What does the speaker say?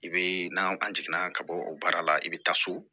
I bee n'an an jiginna ka bɔ o baara la i be taa so